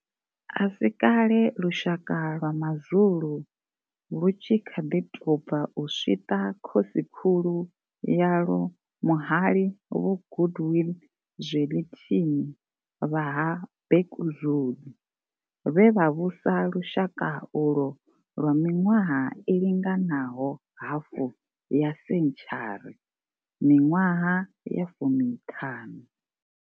A si kale lushaka lwa ma zulu lwu tshi kha ḓi tou bva u swiṱa khosikhulu yalwo muhali vho Goodwill Zwelithini vha ha Bhekuzulu, vhe vha vhusa lushaka ulwo lwa miṅwaha i linganaho hafu ya sentshari miṅwaha ya fumi ṱhanu.